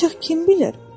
Ancaq kim bilir?